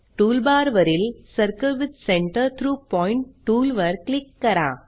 टूलबारवरील circle with centre through point tool वर click करा